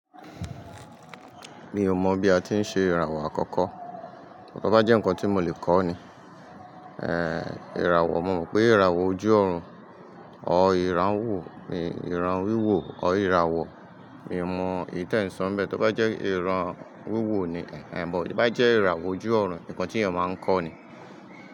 Mi ò mọ̀ bí a ti ń ṣe ìràwọ̀ àkọ́kọ́, tó bá jẹ́ nǹkan tí mo lè kọ́ ni. Èèò ìràwọ̀, mo mọ̀ pé ìràwọ̀ ojú ọ̀run ọ ìran wò, ì ìran wíwò ọ ìràwọ̀, mi ò mọ ìtẹ́ńsan bẹ́ẹ̀ tó bá jẹ́ ìran wíwò ni. Ẹ̀ èèbó bá jẹ́ ìràwọ̀ ojú ọ̀run nǹkan tí èèyàn máa ń kọ́ ni.